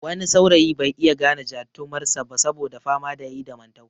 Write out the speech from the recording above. Wani saurayi bai iya gane jatumar sa ba saboda fama da yayi da mantau